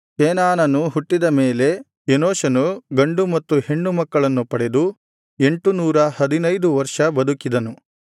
ಕೇನಾನನು ಹುಟ್ಟಿದ ಮೇಲೆ ಎನೋಷನು ಗಂಡು ಮತ್ತು ಹೆಣ್ಣು ಮಕ್ಕಳನ್ನು ಪಡೆದು ಎಂಟುನೂರ ಹದಿನೈದು ವರ್ಷ ಬದುಕಿದನು